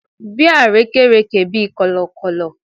Bi arekereke bi kọlọkọlọ